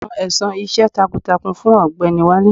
Wọn san ẹ̀san iṣẹ́ takuntakun fún ọ̀gbẹ́ni Wale.